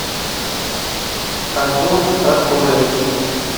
артур артурович